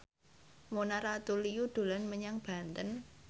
Mona Ratuliu dolan menyang Banten